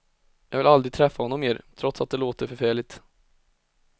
Jag vill aldrig träffa honom mer, trots att det låter förfärligt.